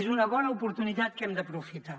és una bona oportunitat que hem d’aprofitar